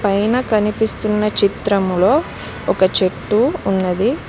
పైన కనిపిస్తున్న చిత్రంలో ఒక చెట్టు ఉన్నది.